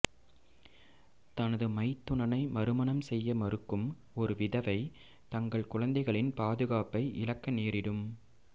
தனது மைத்துனனை மறுமணம் செய்ய மறுக்கும் ஒரு விதவை தங்கள் குழந்தைகளின் பாதுகாப்பை இழக்க நேரிடும்